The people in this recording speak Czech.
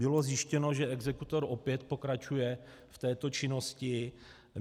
Bylo zjištěno, že exekutor opět pokračuje v této činnosti.